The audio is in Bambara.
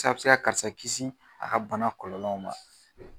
Ɛseke a bɛ se ka karisa kisi a ka bana kɔlɔlɔw ma